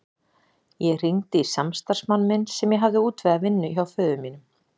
Ég hringdi í samstarfsmann minn sem ég hafði útvegað vinnu hjá föður mínum.